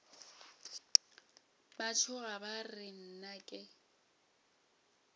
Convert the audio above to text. ba tšhoga ba re nnake